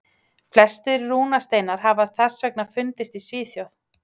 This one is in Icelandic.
Flestir rúnasteinar hafa þess vegna fundist í Svíþjóð.